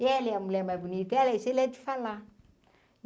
E ele é a mulher mais bonita, ele é isso, ele é de falar.